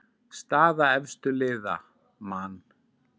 Staða efstu liða: Man.